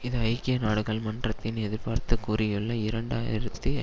இது ஐக்கிய நாடுகள் மன்றத்தின் எதிர்பார்த்து கூறியுள்ள இரண்டாயிரத்தி